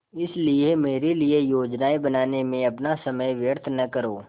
इसलिए मेरे लिए योजनाएँ बनाने में अपना समय व्यर्थ न करो